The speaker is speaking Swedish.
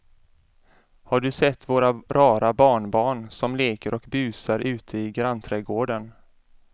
Har du sett våra rara barnbarn som leker och busar ute i grannträdgården!